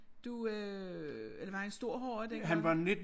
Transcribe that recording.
Du øh eller var han en stor horra dengang?